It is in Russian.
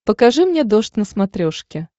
покажи мне дождь на смотрешке